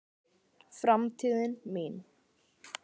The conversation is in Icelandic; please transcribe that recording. Framtíðin mín?